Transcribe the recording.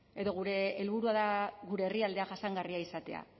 edo gure helburua da gure herrialdea jasangarria izatea